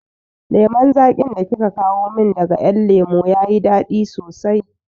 Lemon zaƙin da kika kawo min daga ƴan lemo ya yi daɗi sosai